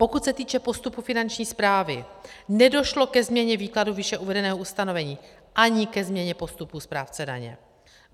Pokud se týče postupu Finanční správy, nedošlo ke změně výkladu výše uvedeného ustanovení ani ke změně posudku správce daně.